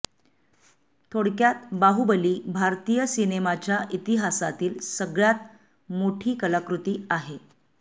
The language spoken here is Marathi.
थोडक्यात बाहुबली भारतीय सिनेमाच्या इतिहासातली सगळ्यात मोठी कलाकृती आहे